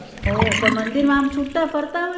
ઓહ પણ મંદિરમાં આમ છુટા ફરતા હોય